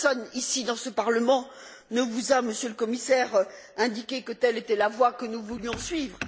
Personne, dans ce Parlement, ne vous a, Monsieur le Commissaire, indiqué que telle était la voie que nous voulions suivre.